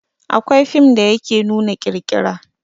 Akwai fim da yake nuna ƙirƙira